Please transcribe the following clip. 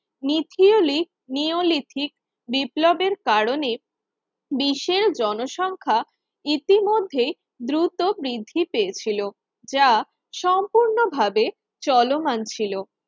নিথিওলিক neolithic বিপ্লবের কারণে দেশের জনসংখ্যা ইতোমধ্যেই দ্রুত বৃদ্ধি পেয়েছিল যা সম্পূর্ণভাবে চলমান ছিল